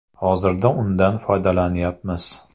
Hozirda undan foydalanyapmiz.